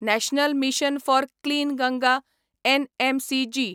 national mission for clean Ganga NMCG